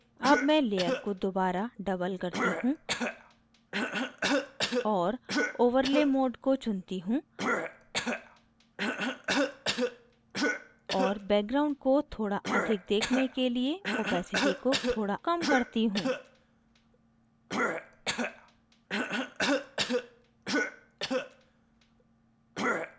double मैं layer को दोबारा double करती हूँ और overlay mode को चुनती हूँ और background को थोड़ा अधिक देखने के लिए opacity को थोड़ा कम करती हूँ